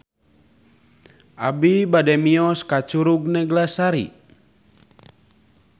Abi bade mios ka Curug Neglasari